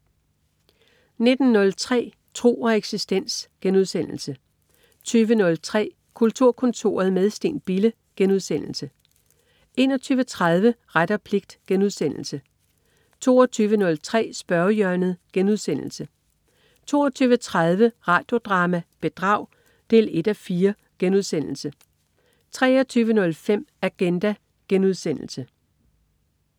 19.03 Tro og eksistens* 20.03 Kulturkontoret - med Steen Bille* 21.30 Ret og pligt* 22.03 Spørgehjørnet* 22.30 Radio Drama: Bedrag 1:4* 23.05 Agenda*